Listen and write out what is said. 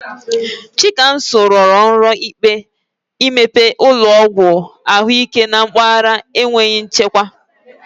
Chikamso rọrọ nrọ imepe ụlọọgwụ ahụike na mpaghara enweghị nchekwa.